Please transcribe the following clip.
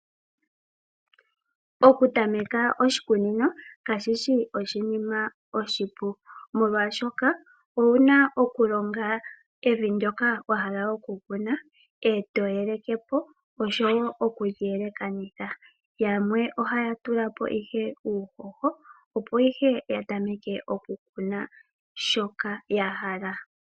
Okutameka oshikunino kashi shi oshinima oshipu, oshoka owu na okulonga evi ndyoka wa hala okukuna, e to yeleke po oshowo okuli yelekanitha. Yamwe ohaya tula po ihe uuhoho, opo ihe ya tameke okukuna shoka ya hala.